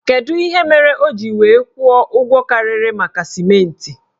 Kedụ ihe mere o ji wee kwụọ ụgwọ karịrị maka sịmentị?